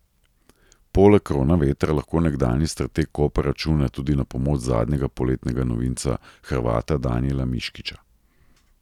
Poleg Kronavetra lahko nekdanji strateg Kopra računa tudi na pomoč zadnjega poletnega novinca, Hrvata Danijela Miškića.